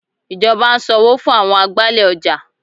Ìjọba ń sanwó fún àwọn agbálẹ̀ ọjà.